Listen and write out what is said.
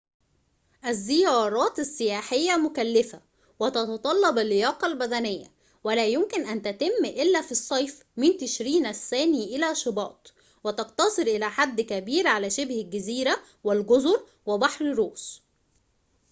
الزيارات السياحية مكلفة وتتطلب اللياقة البدنية ولا يمكن أن تتم إلا في الصيف من تشرين الثاني إلى شباط وتقتصر إلى حد كبير على شبه الجزيرة والجزر وبحر روس